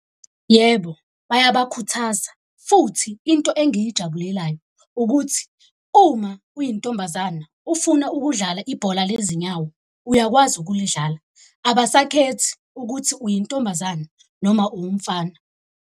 Yebo, bayabakhuthaza futhi into engiyijabulelayo ukuthi uma uyintombazane ufuna ukudlala ibhola lezinyawo, uyakwazi ukulidlala. Abasaphethe ukuthi uyintombazane noma uwumfana.